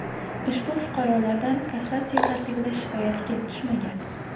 Ushbu fuqarolardan kassatsiya tartibida shikoyati kelib tushmagan.